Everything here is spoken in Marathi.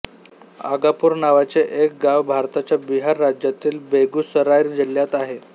आगापूर नावाचे एक गाव भारताच्या बिहार राज्यातील बेगुसराय जिल्ह्यात आहे